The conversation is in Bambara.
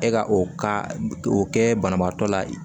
E ka o ka o kɛ banabaatɔ la